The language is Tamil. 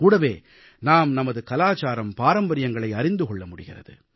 கூடவே நாம் நமது கலாச்சாரம் பாரம்பரியங்களை அறிந்து கொள்ள முடிகிறது